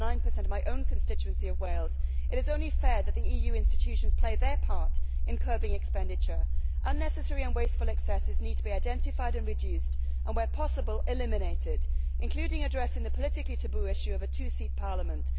8.9 in my own constituency of Wales, it is only fair that the EU institutions play their part in curbing expenditure. Unnecessary and wasteful excesses need to be identified and reduced and where possible eliminated, including addressing the politically taboo issue of a two seat parliament.